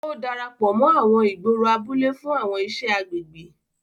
O darapọ mọ àwọn ìgboro abúlé fún àwọn iṣẹ agbègbè.